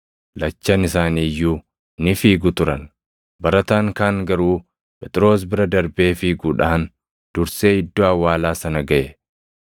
Lachan isaanii iyyuu ni fiigu turan; barataan kaan garuu Phexros bira darbee fiiguudhaan dursee iddoo awwaalaa sana gaʼe.